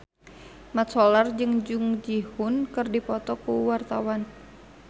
Mat Solar jeung Jung Ji Hoon keur dipoto ku wartawan